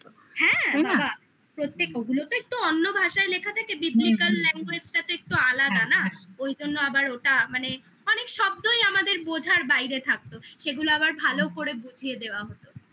হ্যাঁ প্রত্যেক ওগুলো তো একটু অন্য ভাষায় লেখা থাকে beplical language টা তো একটু আলাদা না ওই জন্য আবার ওটা মানে অনেক শব্দই আমাদের বোঝার বাইরে থাকতো সেগুলো আবার ভালো করে বুঝিয়ে দেওয়া হতো